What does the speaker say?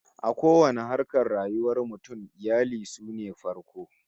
A kowanne harkar rayuwar mutum, iyali sune farko